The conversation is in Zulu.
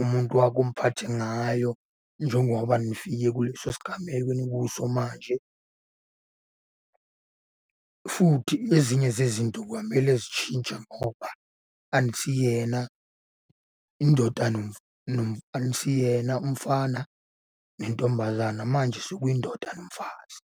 umuntu wakho umphathe ngayo njengoba nifike kuleso sigameko enikuso manje, futhi ezinye zezinto kwamele zitshintshe ngoba anisiyena indoda , anisiyena umfana nentombazana manje sekuyindoda nomfazi.